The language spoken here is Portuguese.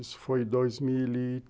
Isso foi em dois mil e.